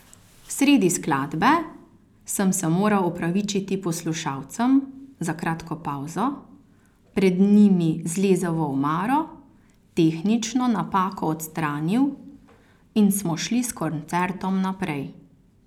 Sredi skladbe sem se moral opravičiti poslušalcem za kratko pavzo, pred njimi zlezel v omaro, tehnično napako odstranil in smo šli s koncertom naprej.